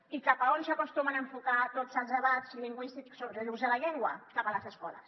i cap a on s’acostumen a enfocar tots els debats lingüístics sobre l’ús de la llengua cap a les escoles